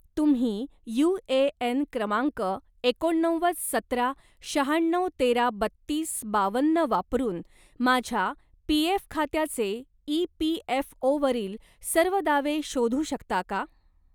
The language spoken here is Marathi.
तुम्ही यू.ए.एन. क्रमांक एकोणनव्वद सतरा शहाण्णव तेरा बत्तीस बावन्न वापरून माझ्या पी.एफ. खात्याचे ई.पी.एफ.ओ.वरील सर्व दावे शोधू शकता का?